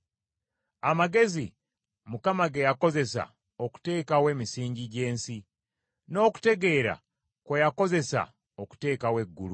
Amagezi, Mukama ge yakozesa okuteekawo emisingi gy’ensi; n’okutegeera kwe yakozesa okuteekawo eggulu;